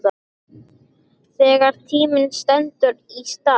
Þegar tíminn stendur í stað